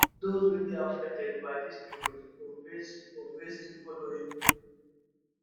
dose wey dey affected by dis new rules go face go face di following